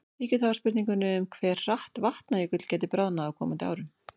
Víkjum þá að spurningunni um hve hratt Vatnajökull gæti bráðnað á komandi árum.